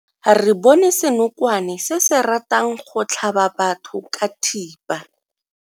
Re bone senokwane se se ratang go tlhaba batho ka thipa.